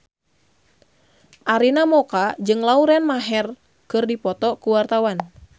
Arina Mocca jeung Lauren Maher keur dipoto ku wartawan